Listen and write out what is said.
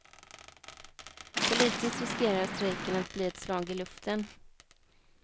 Politiskt riskerar strejken att bli ett slag i luften.